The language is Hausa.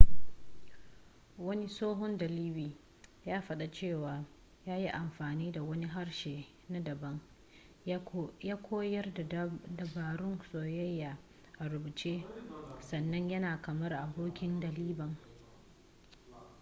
wani tsohon dalibi ya fada cewa ya ‘yi amfani da wani harshe na dabam ya koyar da dabarun soyayya a rubuce sannan yana kamar abokin daliban.’